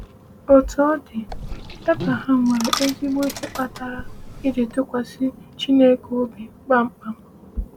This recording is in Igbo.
Otú ọ dị, Abraham nwere ezigbo ihe kpatara iji tụkwasị Chineke obi kpamkpam.